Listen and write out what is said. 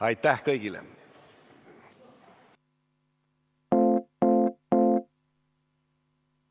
Aitäh kõigile!